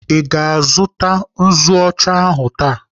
Ị ga-azụta nzu ọcha ahụ taa?